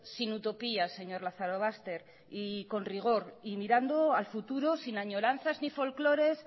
sin utopías señor lazarobaster con rigor y mirando al futuro sin añoranzas ni folclores